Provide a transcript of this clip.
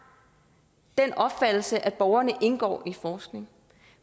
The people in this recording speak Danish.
den opfattelse at borgerne indgår i forskning